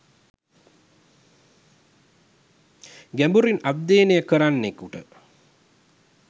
ගැඹුරින් අධ්‍යයනය කරන්නෙකුට